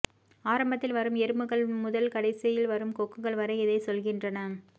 ஆரம்பத்தில் வரும் எறும்புகள் முதல் கடைசியில் வரும் கொக்குகள் வரை இதை சொல்கின்றன